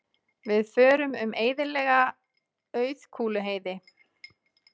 Við förum um eyðilega Auðkúluheiði.